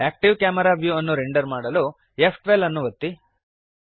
active camera view ಅನ್ನು render ಮಾಡಲು ಫ್12 ಅನ್ನು ಒತ್ತಿರಿ